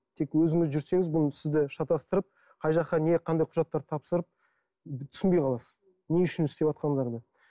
тек өзіңіз жүрсеңіз бұл сізді шатастырып қай жаққа не қай құжаттарды тапсырып түсінбей қаласыз не үшін істеватқандарыңды